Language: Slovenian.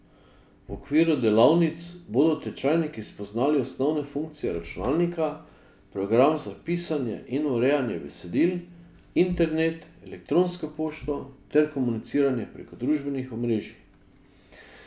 V okviru delavnic bodo tečajniki spoznali osnovne funkcije računalnika, program za pisanje in urejanje besedil, internet, elektronsko pošto ter komuniciranje preko družbenih omrežij.